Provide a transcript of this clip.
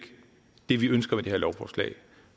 det vi ønsker med det her lovforslag